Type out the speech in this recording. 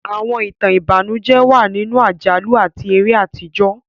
Àwọn ìtàn ìbànújẹ́ wà nínú àjálù àti eré àtijọ́.